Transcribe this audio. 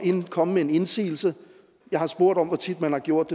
komme med en indsigelse jeg har spurgt om hvor tit man har gjort